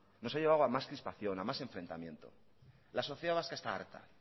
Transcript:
nos ha llevado más crispación a más enfrentamiento la sociedad vasca está harta